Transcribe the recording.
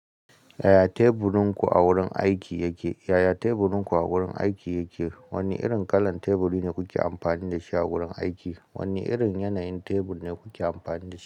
Yaya teburinku a wurin aiki yake? Yaya teburinku a wurin aiki yake? Wane irin kalar teburi ne kuke amfani da shi a wurin aiki? Wane irin yanayin tebur ne kuke amfani da shi?